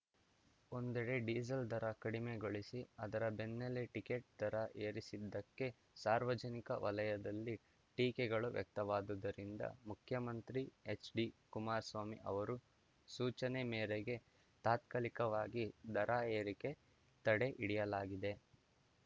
ಒಂದೆಡೆ ಡೀಸೆಲ್‌ ದರ ಕಡಿಮೆಗೊಳಿಸಿ ಅದರ ಬೆನ್ನಲ್ಲೇ ಟಿಕೆಟ್‌ ದರ ಏರಿಸಿದ್ದಕ್ಕೆ ಸಾರ್ವಜನಿಕ ವಲಯದಲ್ಲಿ ಟೀಕೆಗಳು ವ್ಯಕ್ತವಾದುದ್ದರಿಂದ ಮುಖ್ಯಮಂತ್ರಿ ಹೆಚ್‌ಡಿಕುಮಾರಸ್ವಾಮಿ ಅವರ ಸೂಚನೆ ಮೇರೆಗೆ ತಾತ್ಕಾಲಿಕವಾಗಿ ದರ ಏರಿಕೆ ತಡೆ ಹಿಡಿಯಲಾಗಿದೆ